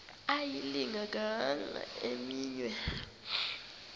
ayilinga gaahanga imenywe